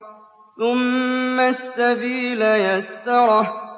ثُمَّ السَّبِيلَ يَسَّرَهُ